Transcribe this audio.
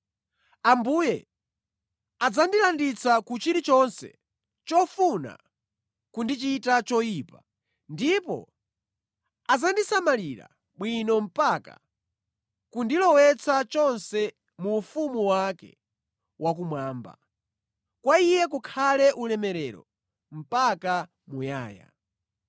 Ambuye adzandilanditsa ku chilichonse chofuna kundichita choyipa ndipo adzandisamalira bwino mpaka kundilowetsa chonse mu ufumu wake wakumwamba. Kwa Iye kukhale ulemerero mpaka muyaya.